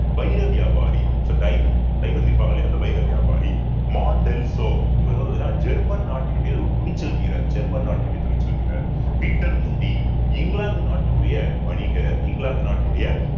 வைர வியாபாரி so diamond diamond விற்பாங்க இல்லையா அந்த வைர வியாபாரி இவர் வந்து ஜேர்மன் நாட்டினுடைய ஒரு துணிச்சல் வீரர் ஜேர்மன் நாட்டினுடைய துணிச்சல் வீரர் பீட்டர் முண்டி இங்கிலாந்து நாட்டினுடைய வணிகர் இங்கிலாந்து நாட்டினுடைய